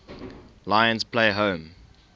lions play home